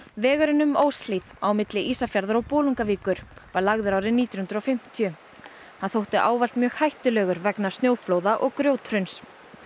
vegurinn um Óshlíð á milli Ísafjarðar og Bolungarvíkur var lagður árið nítján hundruð og fimmtíu hann þótti ávallt mjög hættulegur vegna snjóflóða og grjóthruns